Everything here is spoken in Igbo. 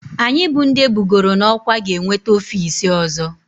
Anyị bụ ndị ebugoro n'ọkwá ga-enweta ofiisi ọzọ